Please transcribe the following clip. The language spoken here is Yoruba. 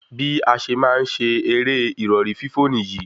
Bí a ṣe máa ń ṣe eré ìrọ̀rí fífò níyì